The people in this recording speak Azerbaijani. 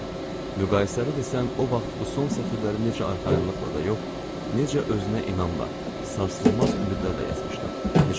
Müqayisəli desəm, o vaxt bu son sətirləri necə arxayınlıqla da yox, necə özünə inamla, sarsılmaz ümidlərlə yazmışdım.